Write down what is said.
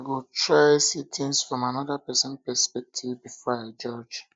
i go try to see things from another pesin perspective before i judge